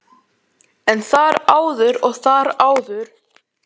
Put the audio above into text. En þar áður og þar áður?